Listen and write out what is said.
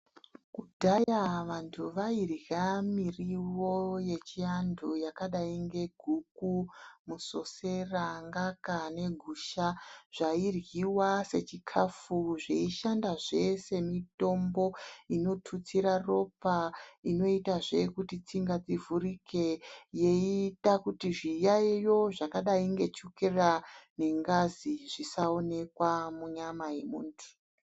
Kudhaya vantu vairya mirivo yechiantu yakadai ngeguku, musosera, ngaka negusha zvairyiwa sechikafu zveishandazve semitombo inotutsira ropa inoitazve kuti tsinga dzivhurike yeiita kuti zviyaiyo zvakadai ngechokera nengazi zvisaonekwa munyama yemuntu.